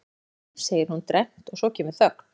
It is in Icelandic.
Hæ, segir hún dræmt og svo kemur þögn.